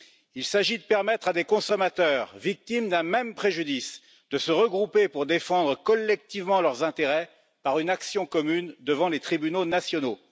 Il s'agit de permettre à des consommateurs, victimes d'un même préjudice, de se regrouper pour défendre collectivement leurs intérêts par une action commune devant les tribunaux nationaux.